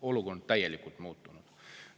Olukord on täielikult muutunud!